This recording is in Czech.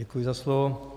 Děkuji za slovo.